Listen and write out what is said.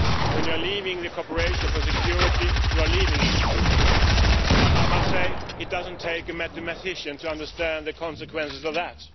When you are leaving the cooperation for security, you are leaving it. I must say it doesn't take a mathematician to understand the consequences of that.